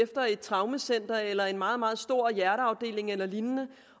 efter et traumecenter eller en meget meget stor hjerteafdeling eller lignende